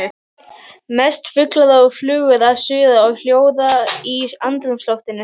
Mest fuglar og flugur að suða og hljóða í andrúmsloftinu.